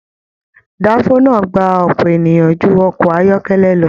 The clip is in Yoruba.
Danfo náà gbà ọpọ èèyàn jù ọkọ̀ ayọkẹlẹ lọ.